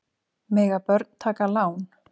Mega börn taka lán?